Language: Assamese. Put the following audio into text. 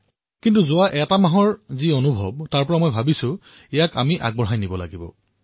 কিন্তু যোৱা এটা মাহৰ অভিজ্ঞতাই মোক শিকালে যে ইয়াক আমি আগুৱাই লৈ যোৱা উচিত